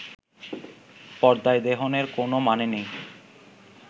পর্দায় দেহনের কোনও মানে নাই